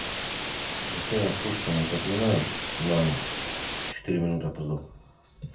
ефремов пушкина тотмина на четыре минуты опоздал